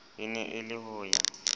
e ne e le hoya